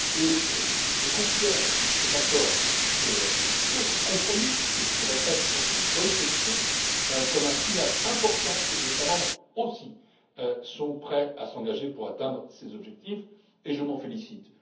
Et je considère cet accord sur les rescrits fiscaux, ce compromis que je répète être de bonne qualité comme un signal important que les États membres aussi sont prêts à s'engager à atteindre ces objectifs, et je m'en félicite.